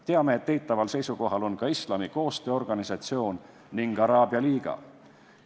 Teame, et eitaval seisukohal on ka Islami Koostöö Organisatsioon ning Araabia Liiga.